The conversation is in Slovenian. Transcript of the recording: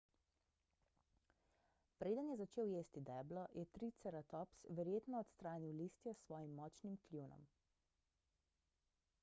preden je začel jesti deblo je triceratops verjetno odstranil listje s svojim močnim kljunom